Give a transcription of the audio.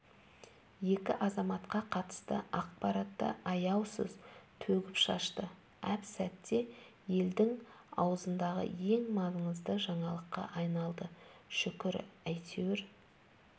екі азаматқа қатысты ақпаратты аяусыз төгіп-шашты әп-сәтте елдің аузындағы ең маңызды жаңалыққа айналды шүкір әйтеуір